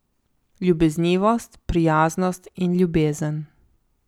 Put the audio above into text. Ljubeznivost, prijaznost in ljubezen.